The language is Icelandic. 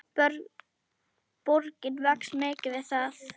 Borgin vex mikið við það.